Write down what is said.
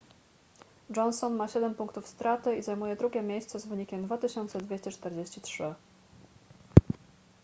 johnson ma siedem punktów straty i zajmuje drugie miejsce z wynikiem 2243